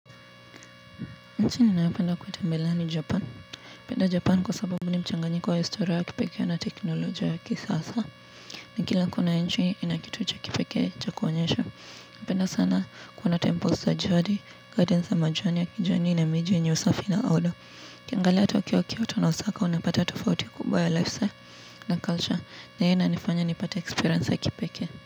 Nchi ninayopenda kutembelea ni japan napenda japan kwa sababu ni mchanganyiko wa historia ya kipekee na teknolojia ya kisasa. Na kila kona ya nchi ina kitu cha kipekee cha kuonyesha. Napenda sana kuona temples za jadi, gardens za majani ya kijani na miji yenye usafi na aodo. Ukiangalia Tokyo, Kyoto na Osaka unapata tofauti kubwa ya lifestyle na culture na hiyo inanifanya nipate experience ya kipekee.